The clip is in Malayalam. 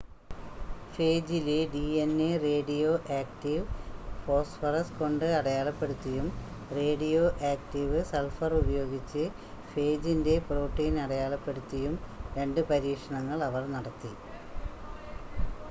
ഫേജിലെ ഡിഎൻഎ റേഡിയോ ആക്റ്റീവ് ഫോസ്ഫറസ് കൊണ്ട് അടയാളപ്പെടുത്തിയും റേഡിയോ ആക്റ്റീവ് സൾഫർ ഉപയോഗിച്ച് ഫേജിൻ്റെ പ്രോട്ടീൻ അടയാളപ്പെടുത്തിയും രണ്ട് പരീക്ഷണങ്ങൾ അവർ നടത്തി